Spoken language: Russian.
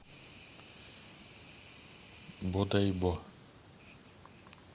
бодайбо